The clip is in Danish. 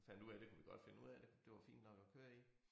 Og fandt ud af det kunne vi godt finde ud af det det var fint nok at køre i